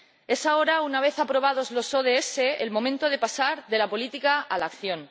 Es ahora, una vez aprobados los ODS, el momento de pasar de la política a la acción.